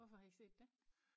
Hvorfor har i set det?